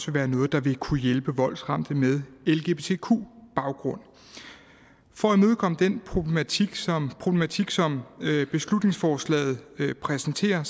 være noget der vil kunne hjælpe voldsramte med lgbtq baggrund for at imødekomme den problematik som problematik som beslutningsforslaget præsenterer